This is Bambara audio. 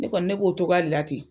Ne kɔni ne b'o cogoya de la ten.